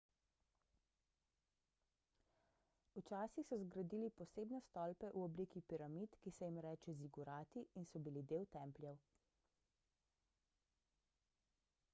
včasih so zgradili posebne stolpe v obliki piramid ki se jim reče zigurati in so bili del templjev